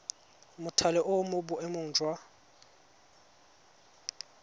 mothale o mo boemong jwa